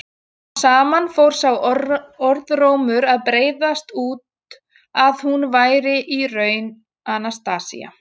Smám saman fór sá orðrómur að breiðast út að hún væri í raun Anastasía.